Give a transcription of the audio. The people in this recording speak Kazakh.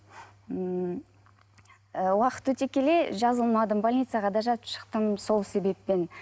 ммм ы уақыт өте келе жазылмадым больницаға да жатып шықтым сол себеппен